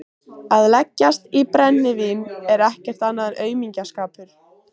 Að leggjast í brennivín er ekkert annað en aumingjaskapur.